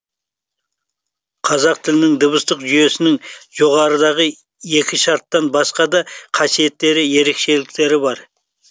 қазақ тілінің дыбыстық жүйесінің жоғарыдағы екі шарттан басқа да қасиеттері ерекшеліктері бар